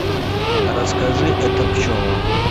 расскажи это пчелам